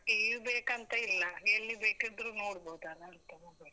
TV ಬೇಕಂತ ಇಲ್ಲ, ಎಲ್ಲಿ ಬೇಕಿದ್ರೂ ನೋಡಬೋದಲ್ಲಾ ಅಂತ mobile.